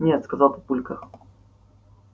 нет сказал папулька